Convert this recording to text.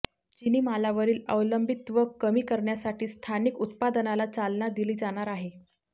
चीनी मालावरील अवलंबित्व कमी करण्यासाठी स्थानिक उत्पादनाला चालना दिली जाणार आहे